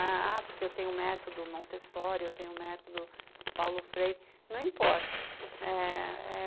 Ah, porque eu tenho o método Montessori, eu tenho o método Paulo Freire, não importa. É...